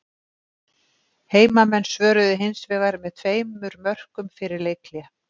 Heimamenn svöruðu hinsvegar með tveimur mörkum fyrir leikhlé.